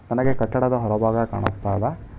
ನನಗೆ ಕಟ್ಟಡದ ಹೊರಭಾಗ ಕಾಣುಸ್ತಾ ಇದೆ.